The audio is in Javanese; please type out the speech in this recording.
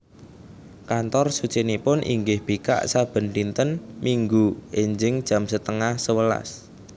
Kantor sucinipun inggih bikak saben dinten Minggu enjing jam setengah sewelas